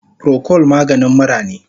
Procold maganin mura ne